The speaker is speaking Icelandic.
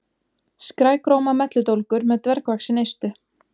Skrækróma melludólgur með dvergvaxin eistu.